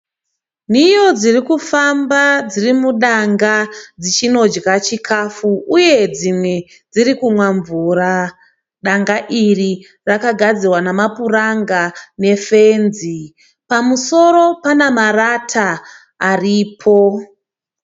Nhiyo dzirikufamba dzirimudanga dzichinodya chikafu uye dzimwe dzirikunwa mvura . Danga iri rakagadzirwa namapuranga ne fenzi pamusoro pana marata aripo.